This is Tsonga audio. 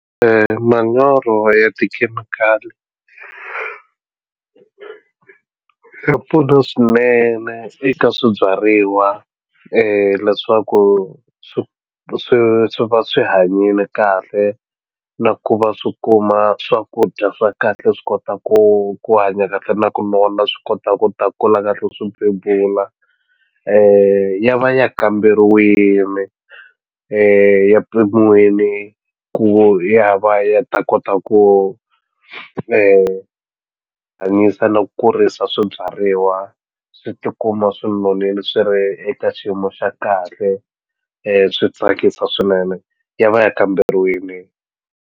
Manyoro ya tikhemikhali ya pfuna swinene eka swibyariwa leswaku swi swi swi va swi hanyile kahle na ku va swi kuma swakudya swa kahle swi kota ku ku hanya kahle na ku nona swi kota ku ta kula kahle swi bebula ya va ya kamberiwini ya pimiwile ku ya va ya ta kota ku hanyisa no kurisa swibyariwa swi ti kuma swi nonile swi ri eka xiyimo xa kahle swi tsakisa swinene ya va ya kamberiwini.